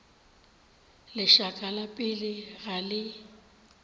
lešaka la pelo ga le